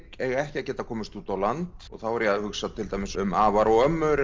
eiga ekki að geta komist út á land þá er ég að hugsa um afar og ömmur